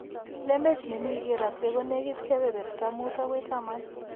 Lembech ne mi keeraate ko negit kepeperta 5 akoi 10.